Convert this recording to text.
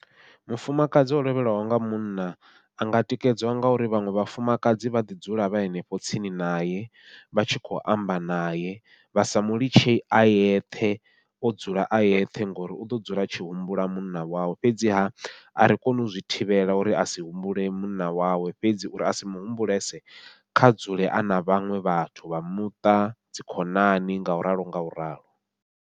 Mufumakadzi o lovhelwaho nga munna a nga tikedzwa ngauri vhaṅwe vhafumakadzi vha ḓi dzula vha henefho tsini naye, vha tshi kho amba naye vha sa mulitshe a yeṱhe o dzula a yeṱhe ngori uḓo dzula a tshi humbula munna wawe. Fhedziha ari koni u zwi thivhela uri a si humbule munna wawe, fhedzi uri a si muhumbulese kha dzule ana vhaṅwe vhathu vha muṱa dzi khonani ngau ralo ngau ralo.